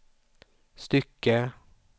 stycke